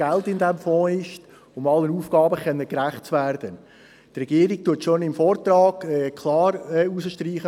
Hierzu werden wir den Regierungspräsidenten begrüssen.